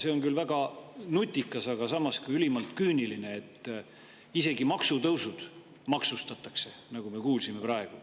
See on küll väga nutikas, aga samas ülimalt küüniline, et isegi maksutõusud maksustatakse, nagu me praegu kuulsime.